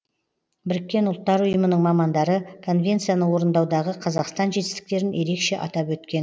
біріккен ұлттар ұйымының мамандары конвенцияны орындаудағы қазақстан жетістіктерін ерекше атап өткен